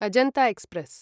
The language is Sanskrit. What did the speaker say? अजन्त एक्स्प्रेस्